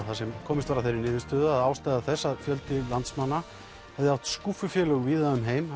þar sem komist var að þeirri niðurstöðu að ástæða þess að fjöldi landsmanna átti skúffufélög víða um heim